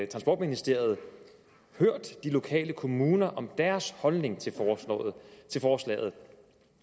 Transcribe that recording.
transportministeriet hørt de lokale kommuner om deres holdning til forslaget